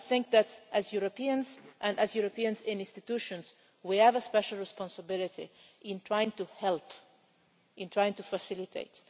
I think that, as Europeans and as Europeans in institutions, we have a special responsibility in trying to help and in trying to facilitate.